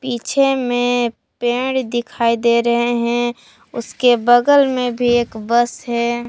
पीछे में पेड़ दिखाई दे रहे हैं उसके बगल में भी एक बस है।